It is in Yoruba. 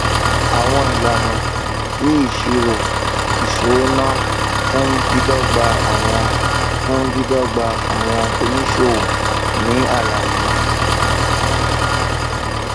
àwọn ìlànà ti ìṣírò ìṣúnáowó fún dídọgba àwọn fún dídọgba àwọn oníṣòwò nì àlàyé